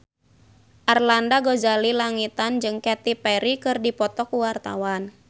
Arlanda Ghazali Langitan jeung Katy Perry keur dipoto ku wartawan